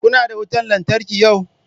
Kuna da wutan lantarki yau?